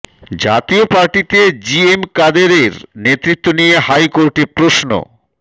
জাতীয় পার্টিতে G M কাদেরের নেতৃত্ব নিয়ে হাই কোর্টের প্রশ্ন